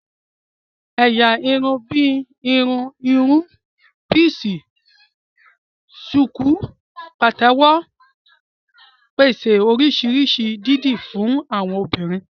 Ẹ̀yà irun bíi ìhun irun píísì, ṣùkú, pàtẹ́wọ́ ń pèsè oríṣi irun dídì fún àwọn obìnrin